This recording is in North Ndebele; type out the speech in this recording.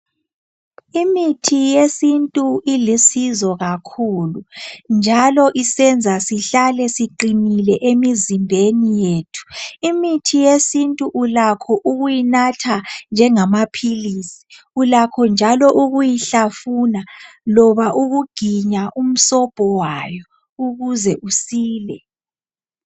imithi yesintu ilusizo kakhulu njalo isenza sihlale siqinile emizimbeni yethu imithi yesintu ulakho ukuyinatha njengamaphilisi ulakho njalo ukuyihlafuna loba ukuginya umsobho wayo ukuze usile